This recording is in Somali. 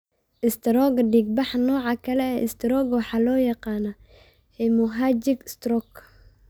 Istaroogga Dhiigbaxa Nooca kale ee istaroogga waxaa loo yaqaan 'hemorrhagic stroke'.